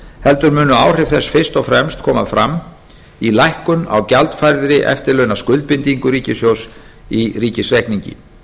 heldur munu áhrif þess fyrst og fremst koma fram í lækkun á gjaldfærðri eftirlaunaskuldbindingu ríkissjóðs í ríkisreikningi